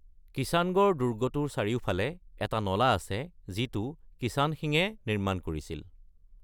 কিষাণগড় দুৰ্গটোৰ চাৰিওফালে এটা নলা আছে যিটো কিষাণ সিঙে নিৰ্মাণ কৰিছিল।